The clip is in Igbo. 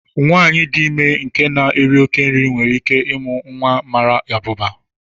Nwanyị dị ime nke na-éri oké nri nwere íké ịmụ nwa mara abụba